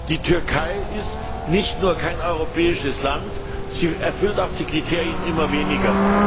Die Türkei ist nicht nur kein europäisches Land, sie erfüllt auch die Kriterien immer weniger.